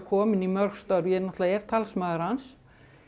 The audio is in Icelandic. komin í mörg störf ég er talsmaður hans